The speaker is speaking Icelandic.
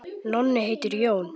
Nonni heitir Jón.